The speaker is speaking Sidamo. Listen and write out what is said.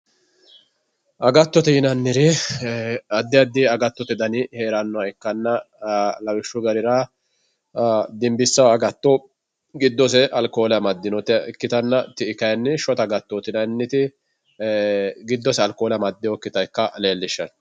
agattote yinanniri addi addi agattote dani heerannoha ikkanna lawishshu garira dinbissanno agatto giddosenni alkoole amaddinota ikkitanna ti'i kayiinni shota agattooti yinanniti giddose alkoole amaddinokkita ikkase leellishshanno.